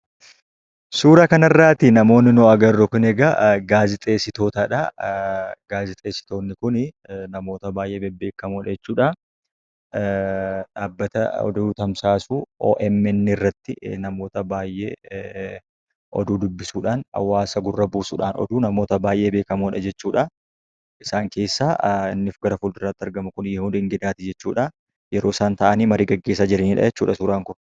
Suura kana irrati namoonni arginu kun eegaa gaazexessitootadha. Gaazexessitoonni kun namoota baay'ee beekamoodha jechuudha. Dhaabbata oduu tamsaasu OMN irratti namoota baay'ee oduu dubbisuudhaan, hawaasa gurra buusuudhaan, oduu namoota baay'ee beekamoodha jechuudha. Isaan keessaa inni gara fuulduraatti argamu kun Yihuun Ingidaati jechuudha. Yeroo isaan ta'anii oduu gaggeessaa jiranidha jechuudha suuraan kun.